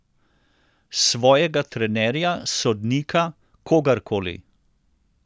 Svojega trenerja, sodnika, kogarkoli ...